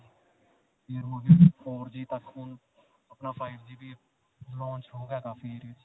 ਫਿਰ ਹੁਣ four G ਤੱਕ ਹੁਣ ਅਪਣਾ five G ਵੀ launch ਹੋ ਗਿਆ ਕਾਫ਼ੀ ਏਰੀਏ 'ਚ.